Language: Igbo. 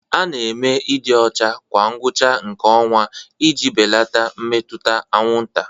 A na-eme ịdị ọcha kwa ngwụcha nke ọnwa iji belata mmetụta anwụnta.